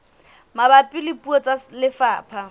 mabapi le puo tsa lefapha